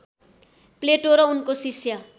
प्लेटो र उनको शिष्य